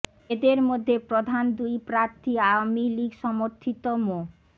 এদের মধ্যে প্রধান দুই প্রার্থী আওয়ামী লীগ সমর্থিত মো